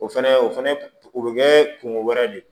O fɛnɛ o fɛnɛ o bɛ kɛ kungo wɛrɛ de ye